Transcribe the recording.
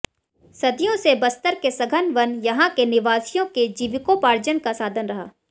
सदियों से बस्तर के सघन वन यहां के निवासियों के जीविकोपार्जन का साधन रहा